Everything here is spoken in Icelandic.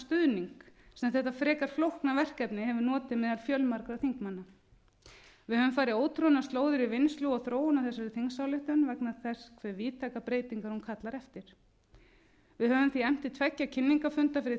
stuðning sem þetta frekar flókna verkefni hefur notið meðal fjölmargra þingmanna við höfum farið ótroðnar slóðir í vinnslu og þróun á þegar þingsályktun vegna þess hve víðtækum breytingum hún kallar eftir við höfum því efnt til tveggja kynningarfunda fyrir þingmenn